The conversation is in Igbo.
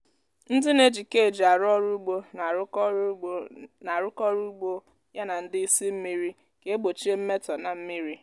ndị na-eji cage arụ ọrụ ugbo na-arụkọ ọrụ ugbo na-arụkọ ọrụ ya na ndị ị́sị́ mmiri ka egbochie mmetọ na mmírí.